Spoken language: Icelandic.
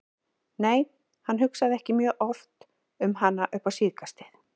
Nei, hann hugsaði ekki mjög oft um hana upp á síðkastið.